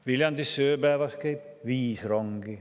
–, Viljandisse käib ööpäevas viis rongi.